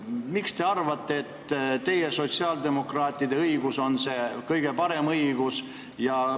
Miks te arvate, et teie, sotsiaaldemokraatide õigus on see kõige parem õigus?